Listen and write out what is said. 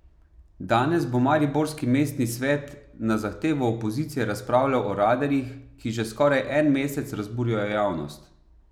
Danes bo mariborski mestni svet na zahtevo opozicije razpravljal o radarjih, ki že skoraj en mesec razburjajo javnost.